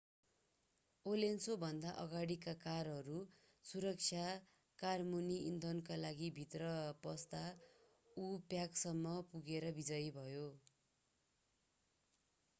अलोन्सोभन्दा अगाडीका कारहरू सुरक्षा कारमुनि इन्धनका लागिभित्र पस्दा उ प्याकसम्म पुगेर विजयी भयो